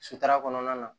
Sutura kɔnɔna na